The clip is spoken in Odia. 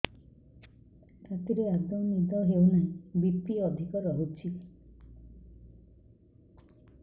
ରାତିରେ ଆଦୌ ନିଦ ହେଉ ନାହିଁ ବି.ପି ଅଧିକ ରହୁଛି